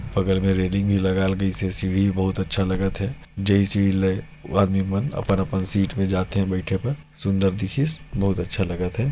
बगल में रैलिंग भी लागिल गई से सीढ़ी भी बहुत अच्छा लगत हे जैसे आदमी मन अपन अपन सीट में जाथे बईथे बर में सुंदर दिखिस बहुत अच्छा लगथे।